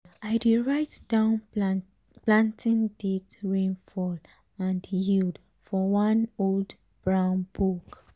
i dey write down planting date rainfall and yield for one old brown book.